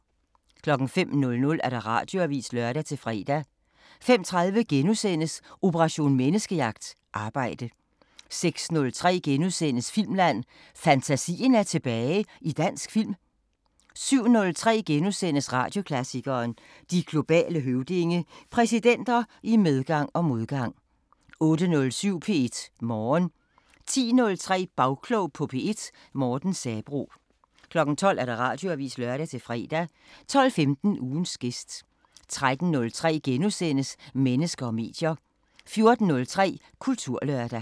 05:00: Radioavisen (lør-fre) 05:30: Operation Menneskejagt: Arbejde * 06:03: Filmland: Fantasien er tilbage i dansk film! * 07:03: Radioklassikeren: De globale høvdinge – Præsidenter i medgang og modgang * 08:07: P1 Morgen 10:03: Bagklog på P1: Morten Sabroe 12:00: Radioavisen (lør-fre) 12:15: Ugens gæst 13:03: Mennesker og medier * 14:03: Kulturlørdag